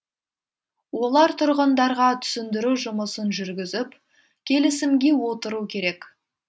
олар тұрғындарға түсіндіру жұмысын жүргізіп келісімге отыру керек